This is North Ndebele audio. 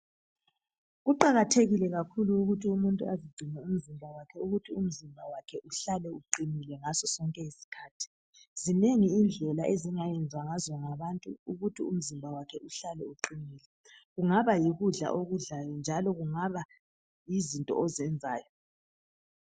Kuqakathekile kakhulu ukuthi umuntu azigcine ukuthi umzimba wakhe uhlale uqinile ngasosonke isikhathi. Zinengi indlela ezingayenzwanngabantu ukuthi imizimba yabo ihlale iqinile kungaba yikudla esikudlalyo kumbe izinto esizenzayo.